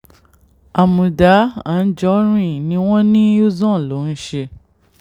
àmùdá àǹjọ́rin ni wọ́n ní uzon ló ń ṣe